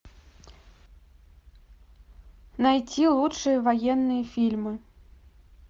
найти лучшие военные фильмы